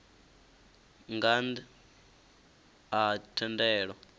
nga nnḓ a ha thendelo